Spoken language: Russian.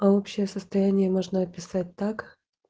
а общее состояние можно описать так